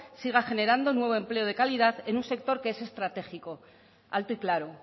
sigan generando nuevo empleo de calidad en un sector que es estratégico alto y claro